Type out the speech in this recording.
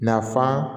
Nafan